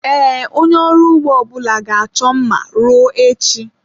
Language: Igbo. Ee, onye ọrụ ugbo ọbụla ga-achọ mma ruo echi.